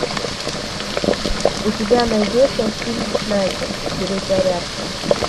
у тебя найдется фильм снайпер перезарядка